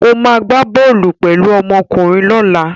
Ó máa gbá bọ́ọ́lù pẹ̀lú ọmọkùnrin lọ́la